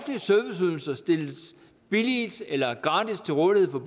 serviceydelser stilles billigt eller gratis til rådighed for